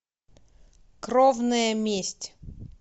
кровная месть